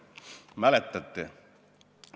Mäletate?